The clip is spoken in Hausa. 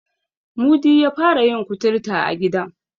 Mudi ya fara yin kuturta a gidan.